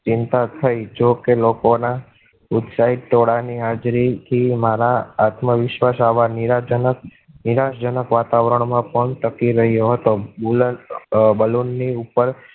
ચિંતા થઈ. જોકે લોકો ના ઉત્સાહી ટોળાં ની હાજરી થી મારા આત્મવિશ્વાસ આવા નિરાજનક નિરાશાજનક વાતાવરણ માં પણ ટકી રહ્યો હતો. balloon ને ઉપર